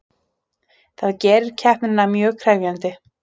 Það gerir keppnina mjög krefjandi